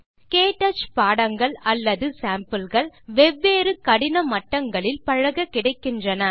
க்டச் பாடங்கள் அல்லது சேம்பிள் கள் வெவ்வேறு கடின மட்டங்களில் பழக கிடைக்கின்றன